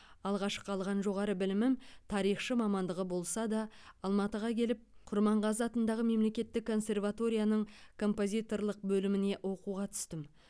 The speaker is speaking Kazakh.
алғашқы алған жоғары білімім тарихшы мамандығы болса да алматыға келіп құрманғазы атындағы мемлекеттік консерваторияның композиторлық бөліміне оқуға түстім